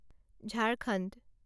Jharkhand